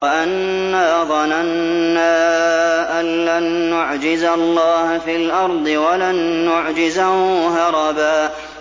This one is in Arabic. وَأَنَّا ظَنَنَّا أَن لَّن نُّعْجِزَ اللَّهَ فِي الْأَرْضِ وَلَن نُّعْجِزَهُ هَرَبًا